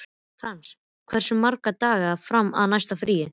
Frans, hversu margir dagar fram að næsta fríi?